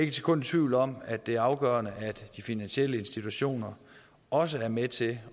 et sekund i tvivl om at det er afgørende at de finansielle institutioner også er med til